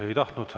Ei tahtnud.